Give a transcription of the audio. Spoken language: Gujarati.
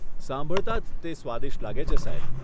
સાંભળતા જ તે સ્વાદિષ્ટ લાગે છે સાહેબ.